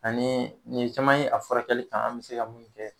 Ani nin caman ye a furakɛli kan an bɛ se ka mun kɛ.